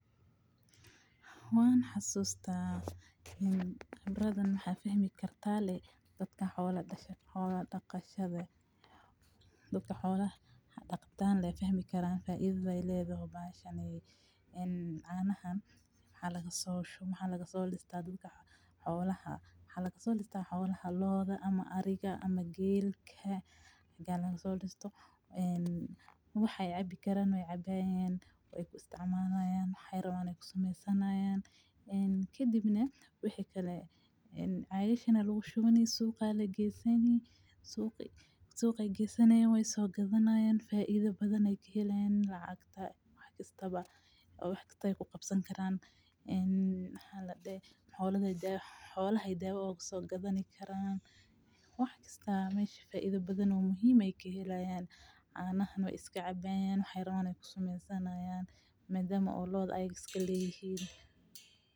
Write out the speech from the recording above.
Waan xasusta kaan khibradan waxa fahmi kartaa daadka xoola dagatadha daadka xooladha dagdaan aa fahmi karaa faidha ay ledadhay bahashani een canahan waxa laga so lista xoolaha waxa lagasolista xoolaha; lo`oda, ariga ma geelka aya lagasolista waxay cabi karaan way cabayan way isticmalayan waxay rawan ay kusameysan karaan kadibna waxi kale cagashan aya lakushuwan suug aya lageesani sug ay geysanayan way so gadhanayan faidha badana ay kahelayan lacagta wax kastaba ay kugabsani karaaan xoolaha ay dawa ugu sogadahani karan wax kasta mesha faidha badano muhiim ay kahelayan canaha waay iskacabayan waxay rawan ay kusamaysanayan madama ay lo`oda ayaka iskaleyhin.